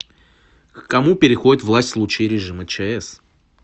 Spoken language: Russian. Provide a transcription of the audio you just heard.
к кому переходит власть в случае режима чс